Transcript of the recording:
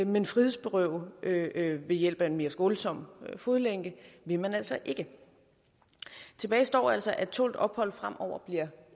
men frihedsberøve ved hjælp af en mere skånsom fodlænke vil man altså ikke tilbage står altså at tålt ophold fremover bliver